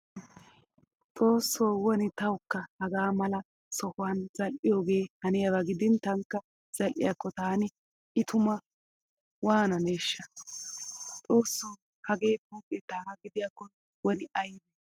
Xoosso woni tawukka hagaa mala sohuwan zal"iyooge haniyaaba gidin tankka zal"iyaakko taani i tuma waananeeshsha. Xoosso hagee pooqe taagaa gidiyaakko woni aybe.